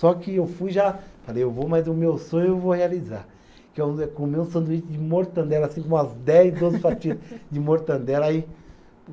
Só que eu fui já, falei, eu vou, mas o meu sonho eu vou realizar, que é comer um sanduíche de mortadela, assim como umas dez, doze fatias de mortadela aí